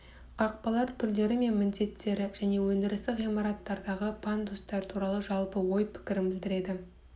қақпалар түрлері мен міндеттері және өндірістік ғимараттардағы пандустар туралы жалпы ой-пікірін білдіреді